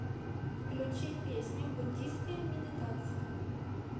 включи песня буддийская медитация